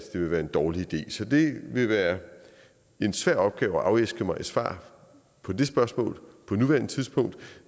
det vil være en dårlig idé så det vil være en svær opgave at afæske mig svar på det spørgsmål på nuværende tidspunkt